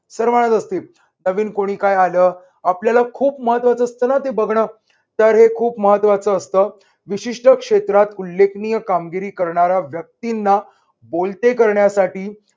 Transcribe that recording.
सर्वांनाच असते. नवीन कुणी काय आलं, आपल्याला खूप महत्त्वाचं असतं ना ते बघन, तर हे खूप महत्त्वाचं असतं. विशिष्ट क्षेत्रात उल्लेखनीय कामगिरी करणाऱ्या व्यक्तींना बोलते करण्यासाठी